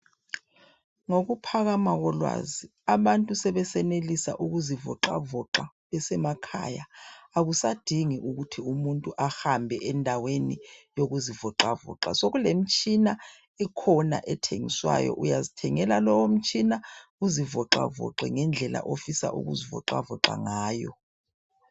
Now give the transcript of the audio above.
Ngokuphakama kolwazi ,abantu sebesenelisa ukuzivoxavoxa besemakhaya. Akusadingi ukuthi umuntu ahambe endaweni yokuzivoxavoxa. Sokulemitshina ekhona ethengiswayo ,uyazithengela lowo mtshina . Uzivoxavoxe ngendlela ofuna ukuzivoxavoxa ngayo.